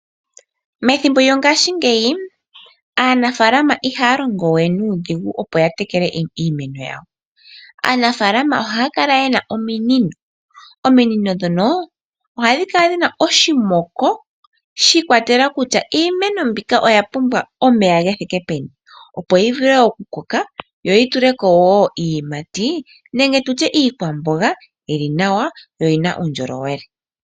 Methimbo lyongashingeyi aanafaalama ihaya longo we nuudhigu, opo ya tekele iimeno yawo. Aanafaalama ohaya kala ye na ominino. Ominino ndhono ohadhi kala dhi na oshimoko shi ikwatelela kutya iimeno mbika oya pumbwa omeya ge thike peni, opo yi vule okukoka yo yi tule ko wo iiyimati nenge tu tye iikwamboga yi li nawa yo oyi na uundjolowele.